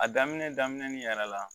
A daminɛ daminɛ ni yɛrɛ la